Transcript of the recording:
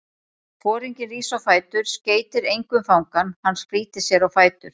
Foringinn rís á fætur, skeytir engu um fangann, hann flýtir sér á fætur.